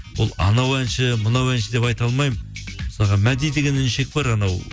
ол анау әнші мынау әнші деп айта алмаймын мысалға мәди деген іншек бар анау